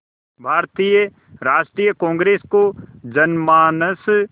भारतीय राष्ट्रीय कांग्रेस को जनमानस